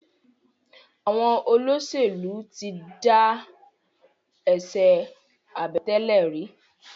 Àwọn olóṣèlú tí dá eṣe Àbẹ̀tẹ́lẹ̀ rí.